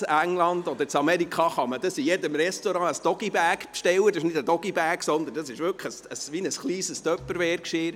In England oder in Amerika kann man in jedem Restaurant einen DoggyBag bestellen, aber es ist nicht ein Doggy-Bag, sondern wirklich ein kleines Tupperware-Geschirr.